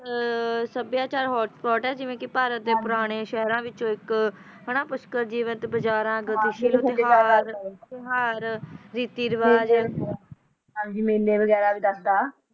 ਸਭਿਆਚਾਰਕ ਖਾਣਾ ਜਿਵੇਂ ਕਿ ਭਾਰਤ ਦੇ ਪੁਰਾਣੇ ਸ਼ਹਿਰ ਵਿੱਚ ਇੱਕ ਔਰਤ ਬਜਾਰ ਰਿਜ਼ਲਟ ਐਲਾਨਣ ਦੀ ਵੰਡ ਵੇਲੇ ਹੋਇਆ ਡ੍ਰਾਅ